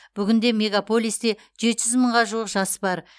бүгінде мегаполисте жеті жүз мыңға жуық жас бар